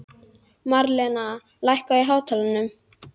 Marlena, lækkaðu í hátalaranum.